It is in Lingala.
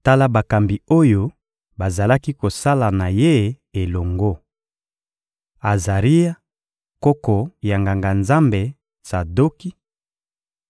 Tala bakambi oyo bazalaki kosala na ye elongo: Azaria, koko ya Nganga-Nzambe Tsadoki;